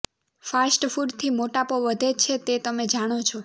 fast ફૂડથી મોટાપો વધે છે તે તમે જાણો છો